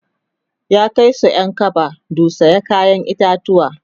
ya Kai Su Ƴan kaba du saya kayan itatauwa